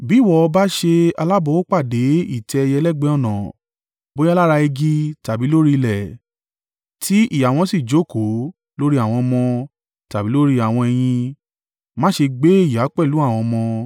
Bí ìwọ bá ṣe alábòápàdé ìtẹ́ ẹyẹ lẹ́gbẹ̀ẹ́ ọ̀nà, bóyá lára igi tàbí lórí ilẹ̀, tí ìyá wọn sì jókòó lórí àwọn ọmọ, tàbí lórí àwọn ẹyin, má ṣe gbé ìyá pẹ̀lú àwọn ọmọ.